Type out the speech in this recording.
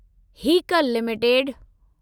Haeckel limited